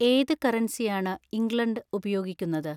ഏത് കറൻസിയാണ് ഇംഗ്ലണ്ട് ഉപയോഗിക്കുന്നത്